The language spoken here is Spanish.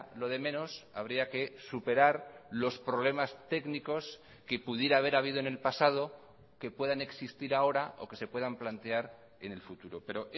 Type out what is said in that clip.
lo de menos habría que superar los problemas técnicos que pudiera haber habido en el pasado que puedan existir ahora o que se puedan plantear en el futuro pero